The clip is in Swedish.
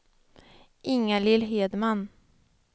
Ingalill Hedman